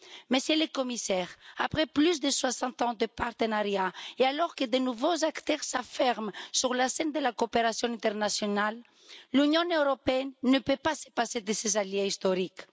Monsieur le Commissaire, après plus de 60 ans de partenariat et alors que de nouveaux acteurs s'affirment sur la scène de la coopération internationale, l'Union européenne ne peut pas se passer de ses alliés historiques.